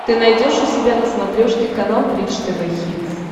ты найдешь у себя на смотрешке канал бридж тв хитс